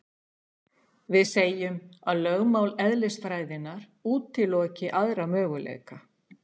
Við segjum að lögmál eðlisfræðinnar útiloki aðra möguleika.